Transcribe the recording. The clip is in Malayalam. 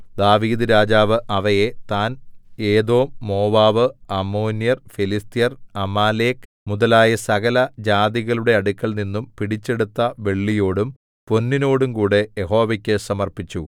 ദാവീദ്‌ രാജാവു അവയെ താൻ ഏദോം മോവാബ് അമ്മോന്യർ ഫെലിസ്ത്യർ അമാലേക്ക് മുതലായ സകലജാതികളുടെ അടുക്കൽനിന്നും പിടിച്ചെടുത്ത വെള്ളിയോടും പൊന്നിനോടുംകൂടെ യഹോവയ്ക്കു സമർപ്പിച്ചു